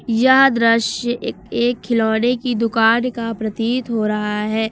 यह द्रस्य एक खिलौने की दुकान का प्रतीत हो रहा है।